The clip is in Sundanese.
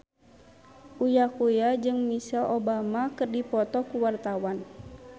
Uya Kuya jeung Michelle Obama keur dipoto ku wartawan